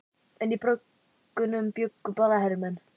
En í bröggunum bjuggu bara hermenn.